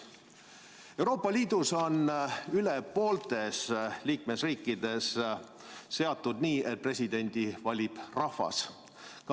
Euroopa Liidus on rohkem kui pooltes liikmesriikides seatud nii, et presidendi valib rahvas.